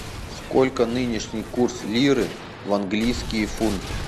сколько нынешний курс лиры в английские фунты